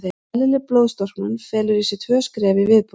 Eðlileg blóðstorknun felur í sér tvö skref í viðbót.